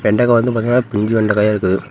வெண்டக்கா வந்து பாத்திங்னா பிஞ்சு வெண்டக்காயா இருக்கு.